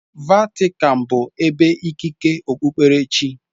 Vatican bụ ebe ikike okpukpere chi.